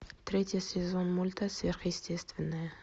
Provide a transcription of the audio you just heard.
третий сезон мульта сверхъестественное